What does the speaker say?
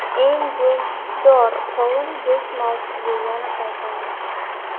Eng go‘shtdor qovun Go‘sht mavzusiga yana qaytamiz.